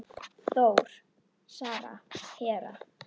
Þór, Sara, Hera.